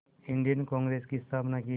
Indian Congress की स्थापना की